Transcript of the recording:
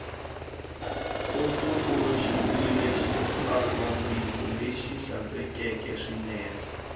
tumbuluxiwile xitsalwambiko lexi hlantswekeke swinene